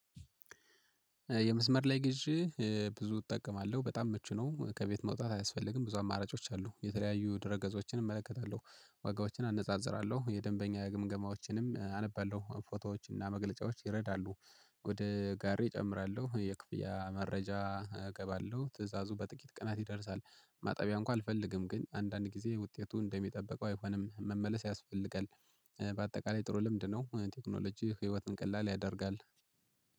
የመስመር ላይ ግዢ ብዙ እጠቀማለሁ በጣም ምቹ ነው። ከቤት መውጣት አያስፈልግም ብዙ አማራጮች አሉ የተለያዩ ድረ ገጾችን እመለከታለሁ ዋጋዎችን አነጻጽራለሁ የደንበኛ የግምገማዎችንም አነባለሁ ፎቶዎች እና መግለጫዎች ይረዳሉ። ወደ ጋሪዬ እጨምራለሁ የክፍያ መረጃ እገባለሁ ትእዛዙ በጥቂት ቀናት ይደርሳል። ማጠቢያ እንኳን አልፈልግም ግን አንዳንድ ጊዜ ውጤቱ እንደሚጠበቀው አይሆንም መመለስ ያስፈልጋል። በአጠቃላይ ጥሩ ልምድ ነው ቴክኖሎጂ ህይወትን ቀላል ያደርጋል።